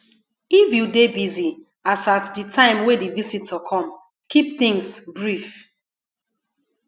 if you dey busy as at di time wey di visitor come keep things brief